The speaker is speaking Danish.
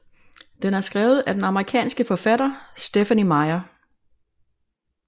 Den er skrevet af den amerikanske forfatter Stephenie Meyer